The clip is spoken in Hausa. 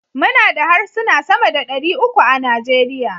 muna da harsuna sama da dari uku a Najeriya